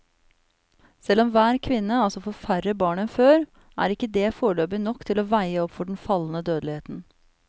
Selv om hver kvinne altså får færre barn enn før, er ikke det foreløpig nok til å veie opp for den fallende dødeligheten.